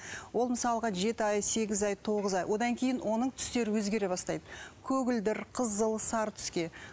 ол мысалға жеті ай сегіз ай тоғыз ай одан кейін оның түстері өзгере бастайды көгілдір қызыл сары түске